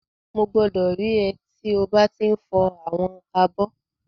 Mo gbọdọ rí é tí o ba ti n fọ àwọn abọ́.